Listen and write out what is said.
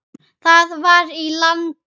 Það var í landi